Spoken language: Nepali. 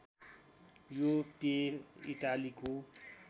यो पेय इटालीको